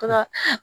To ka